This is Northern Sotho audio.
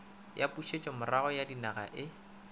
ya pušetšomorago ya ninaga e